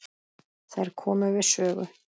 Þær komu við sögu.